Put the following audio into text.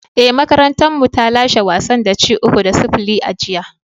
Ee, makarantarmu ta lashe wasan da ci uku da sifili a jiya."